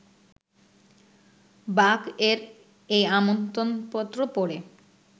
বাক-এর এই আমন্ত্রণপত্র পড়ে